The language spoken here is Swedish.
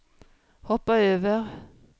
hoppa över